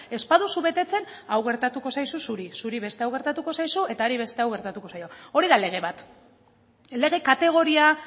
ez baduzu betetzen hau gertatuko zaizu zuri zuri beste hau gertatuko zaizu eta hari beste hau gertatuko zaio hori da lege bat lege kategoria